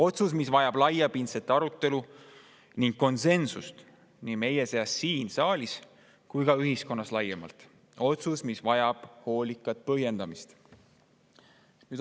Selline otsus vajab laiapindset arutelu ning konsensust nii meie seas siin saalis kui ka ühiskonnas laiemalt ja hoolikat põhjendamist.